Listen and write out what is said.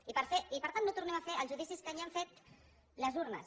i per tant no tornem a fer els judicis que ja han fet les urnes